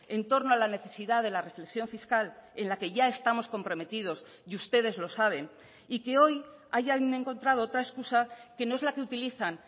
en torno a la necesidad de la reflexión fiscal en la que ya estamos comprometidos y ustedes lo saben y que hoy hayan encontrado otra excusa que no es la que utilizan